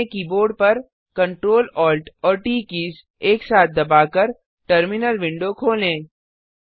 अपने कीबोर्ड परCtrl Alt और ट कीज़ एक साथ दबाकर टर्मिनल विंडो खोलें